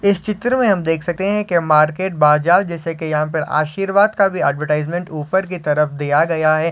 इस चित्र में हमे देख सकते है की मार्केट बाजार जैसा की यहाँ पे आशीर्वाद का भी ऍडवरटाइज ऊपर की तरफ दिया गया है।